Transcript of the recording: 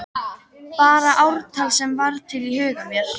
Bara ártal sem varð til í huga mér.